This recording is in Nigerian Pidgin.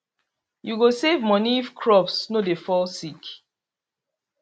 you go save money if crops no dey fall sick